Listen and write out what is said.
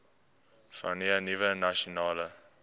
vanweë nuwe nasionale